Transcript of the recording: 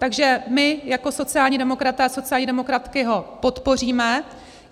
Takže my jako sociální demokraté a sociální demokratky ho podpoříme.